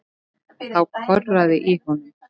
Þá korraði í honum.